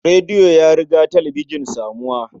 Radio ya riga talabijin samuwa.